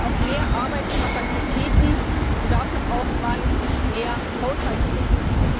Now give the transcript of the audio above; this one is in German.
wir brauchen auch mehr Arbeitskapazitäten und dafür braucht man mehr Haushaltsmittel.